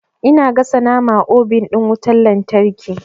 Ina gasa nama a obin ɗin wutan lantarki.